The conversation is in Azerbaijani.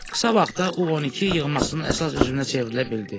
Qısa vaxtda U12 yığmasının əsas üzvünə çevrilə bildi.